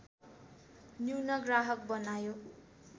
न्यून ग्राहक बनायो